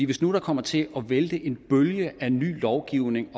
hvis nu der kommer til at vælte en bølge af ny lovgivning